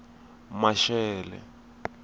maxele